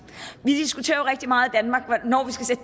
vi diskuterer jo rigtig meget